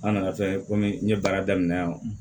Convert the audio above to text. An nana fɛn komi n ye baara daminɛ yan